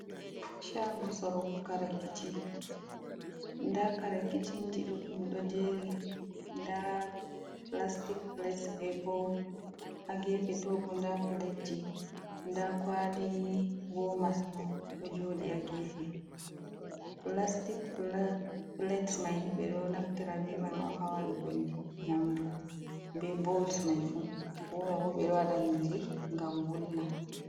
Shago sorowo kare kitchen, nda kara kitchen ɗuɗɗum ɗo jeri nda plastic plates ɓe bowl ha gefe. To bo nda plateji, nda kwali warmers ɓo ɗo joɗi ha gefe. Plastic plates mai ni ɓe ɗo naftira ɓe mai on hawadugo nyamdu be bowls mai fuu. warmer bo ɓedo wada nyiri gam wulna.